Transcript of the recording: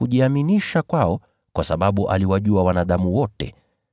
Lakini Yesu hakujiaminisha kwao kwa sababu aliwajua wanadamu wote.